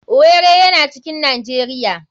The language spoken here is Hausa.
Owerri yana cikin nijeria.